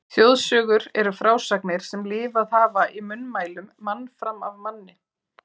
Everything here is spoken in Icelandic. Þjóðsögur eru frásagnir sem lifað hafa í munnmælum mann fram af manni.